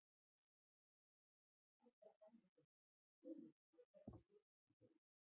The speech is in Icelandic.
Edda Andrésdóttir: Heimir er orðið vitlaust veður?